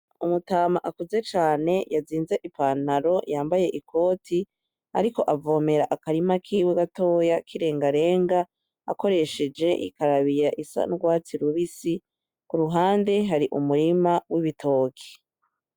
Umutama akuze cane yazinze ipantaro, yambaye ikote ariko avomera akarima kiwe gatoya kirengarenga akoresheje ikarabiya, isa nurwatsi rubisi, kuruhande hari umurima wibitoki.